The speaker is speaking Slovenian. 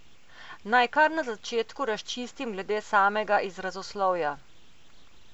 Naj kar na začetku razčistim glede samega izrazoslovja.